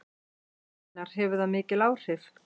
Einar: Hefur það mikil áhrif?